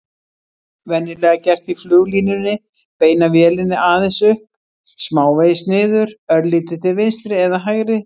Venjulega gert í fluglínunni: beina vélinni aðeins upp, smávegis niður, örlítið til vinstri eða hægri.